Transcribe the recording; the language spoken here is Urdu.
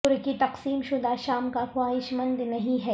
ترکی تقسیم شدہ شام کا خواہش مند نہیں ہے